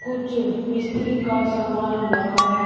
कुछ मिस्त्री का सामान रखा है।